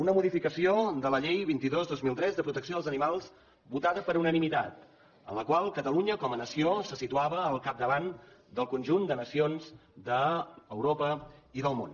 una modificació de la llei vint dos dos mil tres de protecció dels animals votada per unanimitat en la qual catalunya com a nació se situava al capdavant del conjunt de nacions d’europa i del món